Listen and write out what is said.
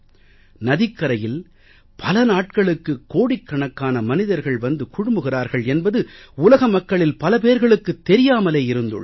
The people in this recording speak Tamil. நதிக் கரையில் பல நாட்களுக்கு கோடிக்கணக்கான மனிதர்கள் வந்து குழுமுகிறார்கள் என்பது உலக மக்களில் பல பேர்களுக்குத் தெரியாமலே இருந்துள்ளது